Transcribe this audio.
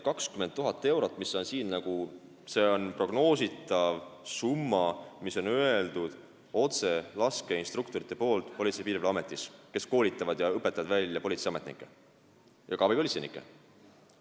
20 000 eurot, mis siin on, on prognoositav summa, mille on öelnud Politsei- ja Piirivalveametis laskeinstruktorid, kes koolitavad politseiametnikke ja ka abipolitseinikke ning õpetavad neid välja.